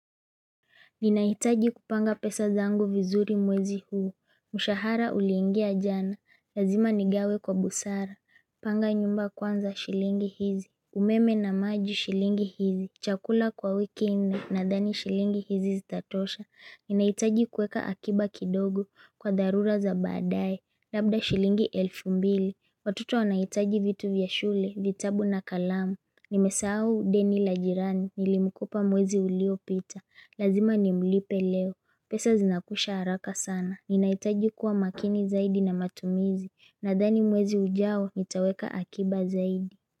Ninahitaji kupanga pesa zangu vizuri mwezi huu. Mshahara uliingia jana. Lazima nigawe kwa busara. Panga nyumba kwanza shilingi hizi. Umeme na maji shilingi hizi. Chakula kwa wiki nne nadhani shilingi hizi zitatosha. Ninahitaji kuweka akiba kidogo kwa dharura za badae. Labda shilingi elfu mbili. Watoto wanahitaji vitu vya shule, vitabu na kalamu. Nimesahau deni la jirani. Nilimkopa mwezi ulio pita. Lazima nimlipe leo. Pesa zinakwisha haraka sana. Ninahitaji kuwa makini zaidi na matumizi. Nadhani mwezi ujao nitaweka akiba zaidi.